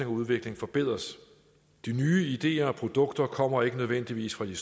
og udvikling forbedres de nye ideer og produkter kommer ikke nødvendigvis fra de